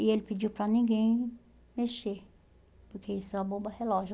E ele pediu para ninguém mexer, porque isso é uma bomba relógio.